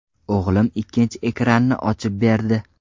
O‘g‘lim ikkinchi ekranni ochib berdi.